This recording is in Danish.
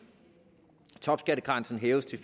topskattegrænsen hæves til